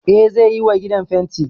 Eh zai yiwa gidan fenti